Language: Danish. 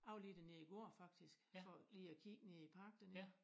Jeg var lige dernede i går faktisk for lige at kigge nede i park dernede